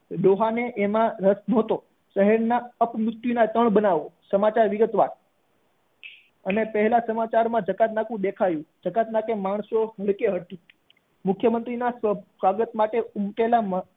ડોહા ને એમાં ન હતો શહેર ના અપવૃતી ના ત્રણ બનાવ સમાચાર વિગતવાર અને પેહલા સમાચાર માં જ જકાતનાકું દેખાવાયું જકાતનાકે માણસો બહુ હતા મુખ્ય મંત્રી ના સ્વાગત માટે ઉમટેલા